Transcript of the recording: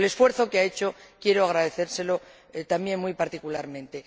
Por el esfuerzo que ha hecho, quiero agradecérselo también muy particularmente.